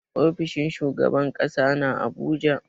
Ofishin shugaban ƙasa na a Abuja.